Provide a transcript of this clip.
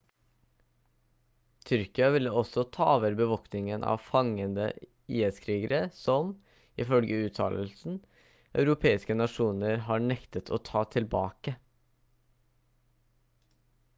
tyrkia ville også ta over bevoktningen av fangede is-krigere som ifølge uttalelsen europeiske nasjoner har nektet å ta tilbake